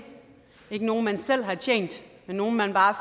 ikke nogle man selv har tjent men nogle man bare